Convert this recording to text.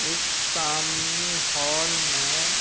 एक सामने हॉल में --